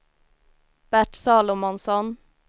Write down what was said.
Bert Salomonsson